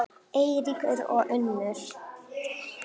Eiríkur og Unnur.